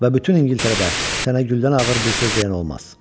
Və bütün İngiltərədə sənə güldən ağır bir söz deyən olmaz.